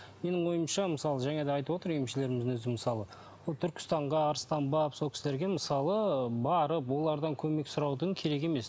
менің ойымша мысалы жаңа да айтып отыр емшілеріміздің өзі мысалы ол түркістанға арыстанбаб сол кісілерге мысалы барып олардан көмек сұраудың керек емес